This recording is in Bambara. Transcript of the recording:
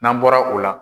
N'an bɔra o la